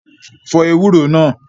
Fọ ewúro náà!